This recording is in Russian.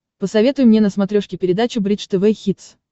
посоветуй мне на смотрешке передачу бридж тв хитс